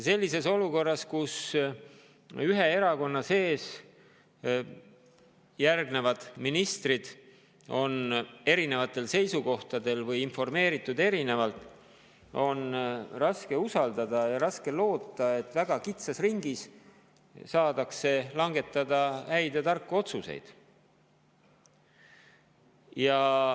Sellises olukorras, kus ühe erakonna sees on ministrid eri seisukohtadel või erinevalt informeeritud, on raske usaldada ja raske loota, et väga kitsas ringis langetada häid ja tarku otsuseid.